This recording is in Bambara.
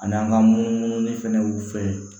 Ani an ka munumunu fana fɛ